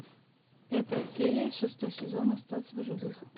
пятая серия шестой сезон остаться в живых